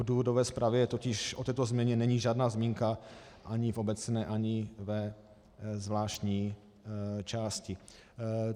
V důvodové zprávě totiž o této změně není žádná zmínka ani v obecné, ani ve zvláštní části.